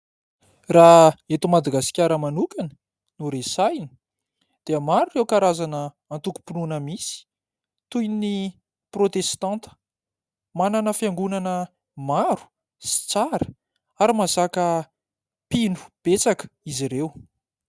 Raha eto Madagasikara manokana no resahana dia maro ireo karazana antokom-pinoana misy toy ny protestanta. Manana fiangonana maro sy tsara ary mahazaka mpino besaka izy ireo.